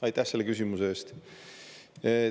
Aitäh selle küsimuse eest!